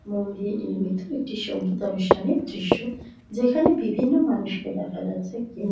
মন দিয়ে নির্মিত একটি সংগীতানুষ্ঠানের দৃশ্য যেখানে বিভিন্ন মানুষকে দেখা যাচ্ছে কেউ--